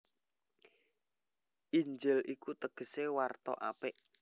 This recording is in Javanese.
Injil iku tegesé warta apik